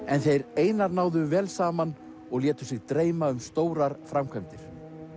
en þeir Einar náðu vel saman og létu sig dreyma um stórar framkvæmdir